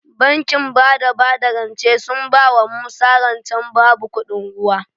Bankin bada bada rance sun bawa musa rance babu kuɗin ruwa